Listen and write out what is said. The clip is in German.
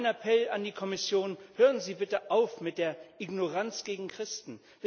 Mein Appell an die Kommission Hören Sie bitte auf mit der Ignoranz gegen Christen!